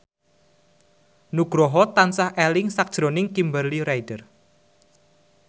Nugroho tansah eling sakjroning Kimberly Ryder